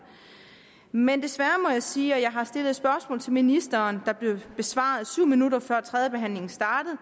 men desværre må jeg sige og jeg har stillet spørgsmål til ministeren der blev besvaret syv minutter før tredjebehandlingen startede